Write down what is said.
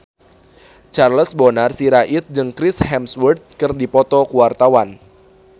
Charles Bonar Sirait jeung Chris Hemsworth keur dipoto ku wartawan